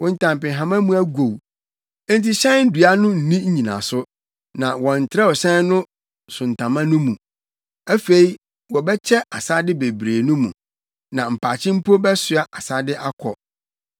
Wo ntampehama mu agow enti hyɛn dua no nni nnyinaso, na wɔntrɛw hyɛn so ntama no mu. Afei wɔbɛkyɛ asade bebree no mu na mpakye mpo bɛsoa asade akɔ.